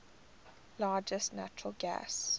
largest natural gas